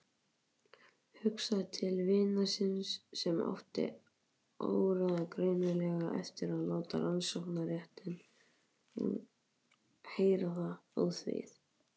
Hugsaði til vinar síns sem átti áreiðanlega eftir að láta rannsóknarréttinn heyra það óþvegið.